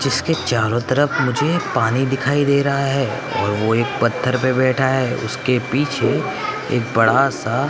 जिसके चारों तरफ मुझे पानी दिखाई दे रहा है और वो एक पत्थर पे बैठा है उसके पीछे एक बड़ा सा--